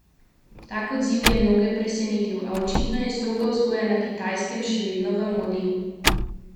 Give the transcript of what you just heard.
Tak odziv je mnoge presenetil, a očitno je stroga vzgoja na Kitajskem še vedno v modi.